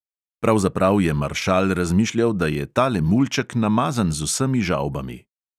Pravzaprav je maršal razmišljal, da je tale mulček namazan z vsemi žavbami.